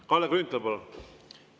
Kalle Grünthal, palun!